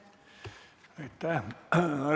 Aitäh!